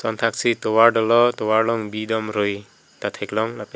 thak si tovar dolo tovar long bi dom rui ta theklong lapen--